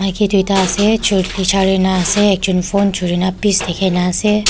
duita ase chun pecarina ase ekjont phone churina pes dekhai ni ase.